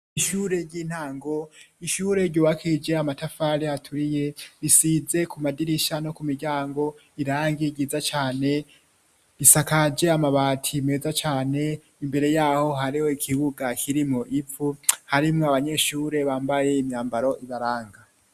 ishure ry'intango, ishure ryubakishije amatafari aturiye risize ku madirisha no ku miryango irangi ryiza cane, risakaje amabati meza cane, imbere yaho hariho ikibuga kirimwo ivu harimwo abanyeshure bambaye imyambaro ibaranga.